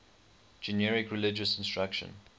generic religious instruction